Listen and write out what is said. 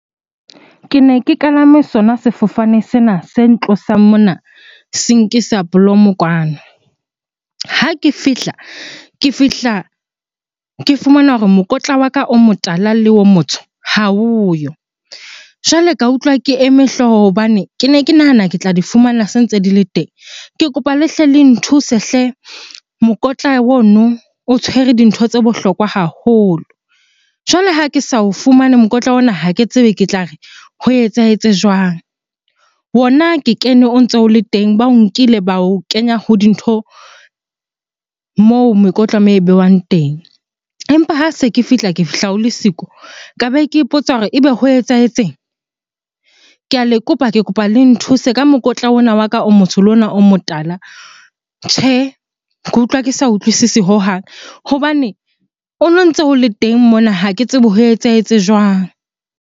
Ke ne ke kalame sona sefofane sena se ntlosang mona se nkisa Bloem-o kwano. Ha ke fihla, ke fihla ke fumana hore mokotla wa ka o motala le o motsho ha oyo. Jwale ka utlwa ke eme hlooho hobane kene ke nahana ke tla di fumana se ntse di le teng. Ke kopa le hle le nthuse hle! Mokotla ono o tshwere dintho tse bohlokwa haholo. Jwale ha ke sa o fumane mokotla ona, ha ke tsebe ke tla re ho etsahetse jwang? Ona ke kene o ntso o le teng, ba o nkile ba o kenya ho dintho moo mekotla moo e behwang teng. Empa ha se ke fihla, ke fihla o le siko. Ka be ke ipotsa hore ebe ho etsahetseng? Ke a kopa, ke kopa le nthuse ka mokotla ona wa ka o motsho le ona o motala. Tjhe, ke utlwa ke sa utlwisisi hohang hobane ono ntse o le teng mona, ha ke tsebe ho etsahetse jwang?